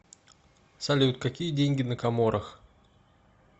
салют какие деньги на коморах